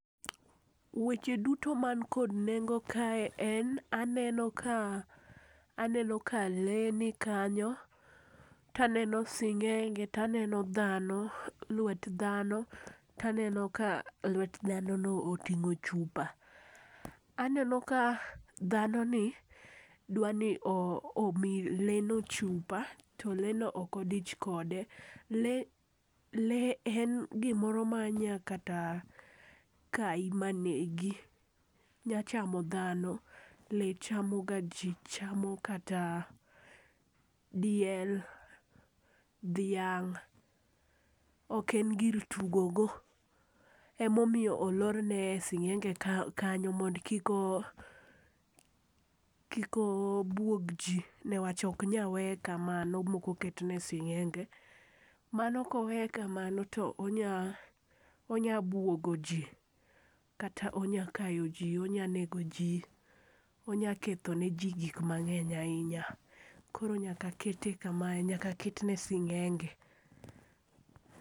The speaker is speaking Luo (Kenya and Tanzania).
Weche duto man kod nengo kae en ,aneno ka lee nikanyo taneno sing'enge taneno lwet dhano taneno ka lwet dhanono oting'o chupa. Aneno ka dhanoni dwani omi lee no chupa to lee no ok odich kode. Lee en gimoro manya kata kayi manegi, nyachamo dhano, lee chamoga ji, chamo kata diel, dhiang'. Ok en gir tugogo, emomiyo olorne e sing'enge kanyo mondo kik obwog ji newach ok nya weye kamano, mok oketne sing'enge, mano kowe kamano to onya bwogo ji kata onya kayo ji, onya nego ji, onya ketho ne ji gik mang'eny ahinya, koro nyaka kete kama, nyaka ketne sing'enge.